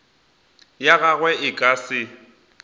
ya gagwe e ka se